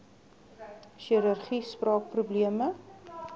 chirurgie spraak probleme